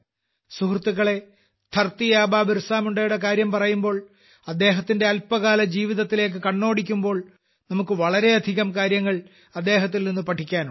സുഹൃത്തുക്കളെ ധർത്തി ആബാ ബിർസാമുണ്ടായുടെ കാര്യം പറയുമ്പോൾ അദ്ദേഹത്തിന്റെ അല്പകാല ജീവിതത്തിലേയ്ക്കു കണ്ണോടിയ്ക്കുമ്പോൾ നമുക്ക് വളരെയധികം കാര്യങ്ങൾ അദ്ദേഹത്തിൽനിന്നു പഠിക്കാനുണ്ട്